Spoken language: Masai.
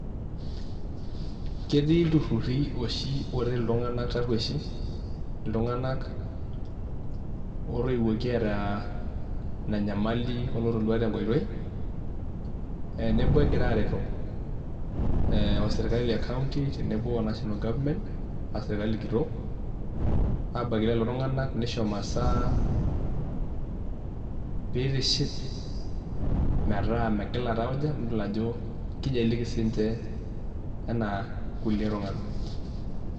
Ketii ltururi oshi oret ltunganak tarueshi , ltunganak otoiwoki eata inanyamali oloinoto tenkoitoi, tenebo egira areto oserkali e county tenebo o national government a serkali kitok abaki lele tongunaka nishoo masaa peitiship metaa megila taujak nelo ajo eliki sinche ana kulie tunganak.